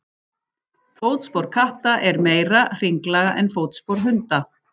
Fótspor katta er meira hringlaga en fótspor hunda.